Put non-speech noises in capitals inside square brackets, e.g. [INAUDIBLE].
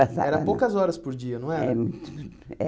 Passava não. Era poucas horas por dia, não era? É hum [UNINTELLIGIBLE]